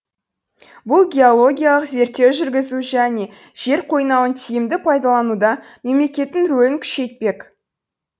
бұл геологиялық зерттеу жүргізу және жер қойнауын тиімді пайдалануда мемлекеттің рөлін күшейтпек